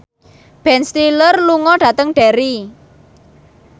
Ben Stiller lunga dhateng Derry